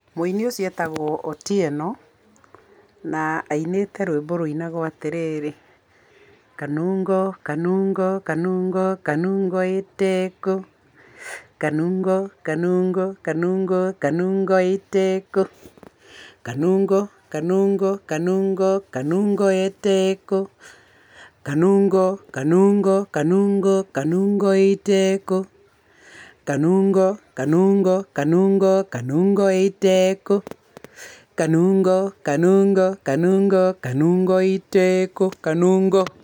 Mũini ũcio etagwo Otieno, na ainĩte rwĩmbo rũinagwo atĩ rĩrĩ, ''Kanungo kanungo kanungo kanungo eteko, kanungo kanungo kanungo kanungo eteko, kanungo kanungo kanungo kanungo eteko, kanungo kanungo kanungo kanungo eteko, kanungo kanungo kanungo kanungo eteko, kanungo kanungo kanungo kanungo eteko, kanungo.''